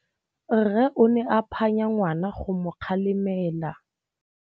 Rre o ne a phanya ngwana go mo galemela.